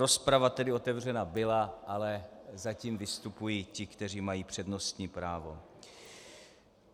Rozprava tedy otevřena byla, ale zatím vystupují ti, kteří mají přednostní právo.